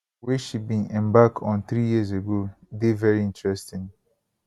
wey she bin embark on three years ago dey veri interesting